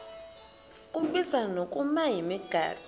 kubizwa ngokuba yimigaqo